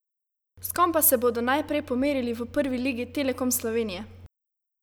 S kom pa se bodo najprej pomerili v Prvi ligi Telekom Slovenije?